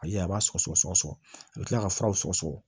Ayi a b'a sɔgɔ sɔgɔ sɔgɔ a bi kila ka fura sɔgɔ sɔgɔ